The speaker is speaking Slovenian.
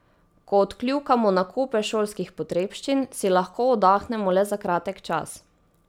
Ko odkljukamo nakupe šolskih potrebščin, si lahko oddahnemo le za kratek čas.